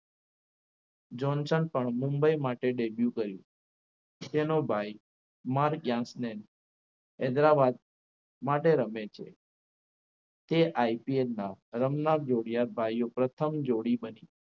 Johnson પણ મુંબઈ માટે debue કર્યું તેનો ભાઈ માર્ગને જ્યાંશને હૈદરાબાદ માટે રમે છે તે IPL ના રમનાર ભાઈઓ પ્રથમ જોડી બની